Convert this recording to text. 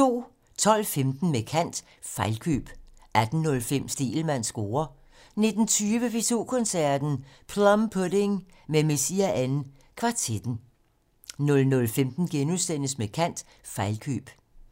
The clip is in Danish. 12:15: Med kant - Fejlkøb 18:05: Stegelmanns score 19:20: P2 Koncerten - Plum Pudding med Messiaen kvartetten 00:15: Med kant - Fejlkøb *